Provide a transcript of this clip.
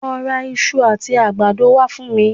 Lọ ra iṣu àti àgbàdo wá fún mi